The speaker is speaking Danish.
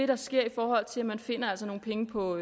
der sker i forhold til at man altså finder nogle penge på